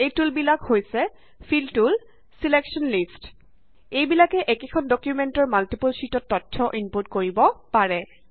এই টুল বিলাক হৈছে ফিল টুল ছিলেকশ্যন লিষ্টচ এইবিলাকে একেখন ডুকুমেন্টৰ মাল্টিপল শ্যিটত তথ্য ইনপুট কৰিব পাৰে